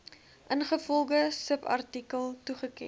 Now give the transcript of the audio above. ingevolge subartikel toegeken